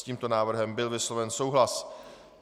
S tímto návrhem byl vysloven souhlas.